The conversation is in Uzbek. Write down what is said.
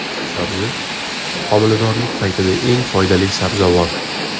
Sabzi : homiladorlik paytida eng foydali sabzavot.